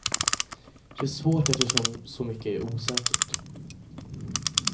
Det är svårt eftersom så mycket är osäkert.